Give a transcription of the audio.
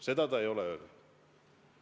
Seda ta ei ole öelnud.